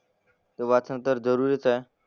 तर वाचणं तर जरुरीच आहे.